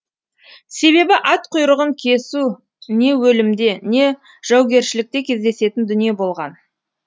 себебі ат құйрығын кесу не өлімде не жаугершілікте кездесетін дүние болған